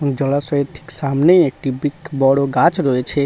জলাশয়ের ঠিক সামনেই একটি বৃখ বড় গাছ রয়েছে।